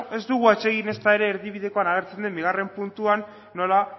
ez dugu atsegin ezta ere erdibidekoan agertzen den bigarren puntuan nola